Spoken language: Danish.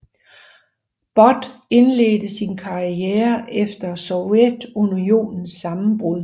But indledte sin karriere efter Sovjetunionens sammenbrud